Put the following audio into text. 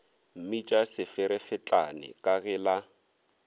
mmitša seferefetlane ka ge la